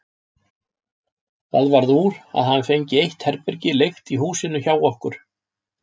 Það varð úr að hann fengi eitt herbergi leigt í húsinu hjá okkur.